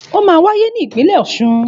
Òmá wàyé ni ìpínlẹ ọsún